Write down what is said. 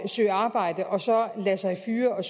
søge arbejde og så lade sig fyre og